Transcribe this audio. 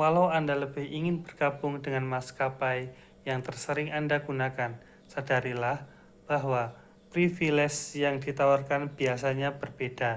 walau anda lebih ingin bergabung dengan maskapai yang tersering anda gunakan sadarilah bahwa privilese yang ditawarkan biasanya berbeda